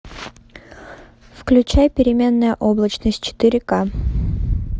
включай переменная облачность четыре к